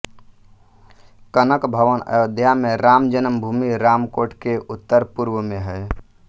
कनक भवन अयोध्या में राम जन्म भूमि रामकोट के उत्तरपूर्व में है